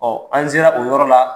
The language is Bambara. Ɔ an sera o yɔrɔ la